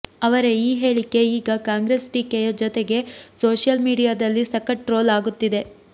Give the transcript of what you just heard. ಅವರ ಈ ಹೇಳಿಕೆ ಈಗ ಕಾಂಗ್ರೆಸ್ ಟೀಕೆಯ ಜೊತೆಗೆ ಸೋಷಿಯಲ್ ಮೀಡಿಯಾದಲ್ಲಿ ಸಖತ್ ಟ್ರೋಲ್ ಆಗುತ್ತಿದೆ